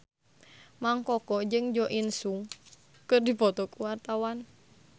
Mang Koko jeung Jo In Sung keur dipoto ku wartawan